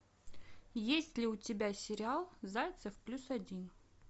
есть ли у тебя сериал зайцев плюс один